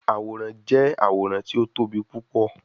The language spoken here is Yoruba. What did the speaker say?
Aworan jẹ aworan ti o tobi pupọ